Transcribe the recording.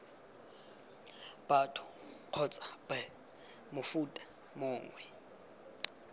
batho kgotsa b mofuta mongwe